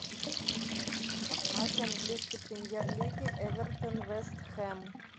матч английской премьер лиги эвертон вест хэм